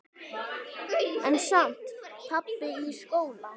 En samt- pabbi í skóla?